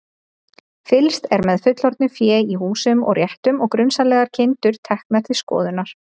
Fylgst er með fullorðnu fé í húsum og réttum og grunsamlegar kindur teknar til skoðunar.